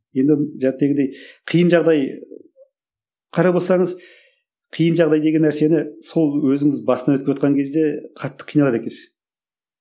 енді қиын жағдай қарап отырсаңыз қиын жағдай деген нәрсені сол өзіңіз бастан кезде қатты қиналады екенсіз